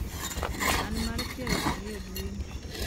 an mar piero ariyo dwe ni